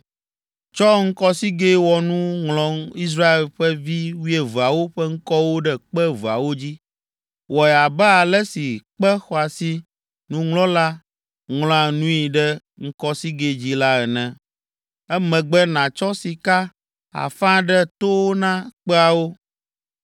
Tsɔ ŋkɔsigɛ̃wɔnu ŋlɔ Israel ƒe vi wuieveawo ƒe ŋkɔwo ɖe kpe eveawo dzi. Wɔe abe ale si kpe xɔasi nuŋlɔla ŋlɔa nui ɖe ŋkɔsigɛ dzi la ene. Emegbe, nàtsɔ sika afa ɖe towo na kpeawo.